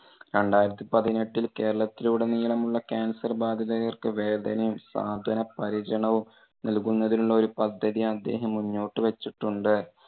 രണ്ടായിരത്തി പതിനെട്ടിൽ കേരളത്തിലുടനീളമുള്ള cancer ബാധിതർക്ക് വേതനവും സാന്ത്വന പരിചരണവും നൽകുന്നതിനുള്ള ഒരു പദ്ധതി അദ്ദേഹം മുന്നോട്ട് വെച്ചിട്ടുണ്ട്.